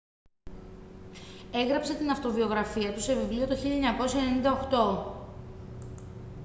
έγραψε την αυτοβιογραφία του σε βιβλίο το 1998